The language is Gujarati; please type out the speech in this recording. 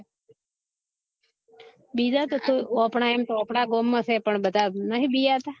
બીજા તો સુ અપના ગામ માં સે પણ નહિ બીહતા